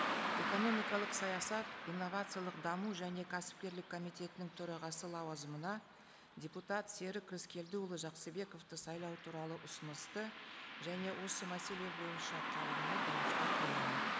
экономикалық саясат инновациялық даму және кәсіпкерлік комитетінің төрағасы лауазымына депутат серік рыскелдіұлы жақсыбековті сайлау туралы ұсынысты және осы мәселе бойынша қаулыны дауысқа қоямын